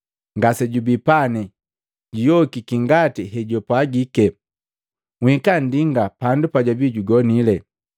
Ngasejubi pane, juyokiki ngati hejupwagike. Nhika nndingalia pandu pajwabii jugonile.